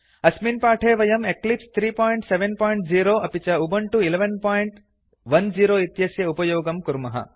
अस्मिन् पाठे वयं एक्लिप्स 370 अपि च उबुन्तु 1110 इत्यस्य उपयोगं कुर्मः